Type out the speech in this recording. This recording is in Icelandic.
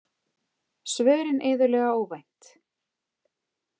Svörin iðulega óvænt.